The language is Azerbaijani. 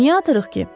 Niyə atırıq ki?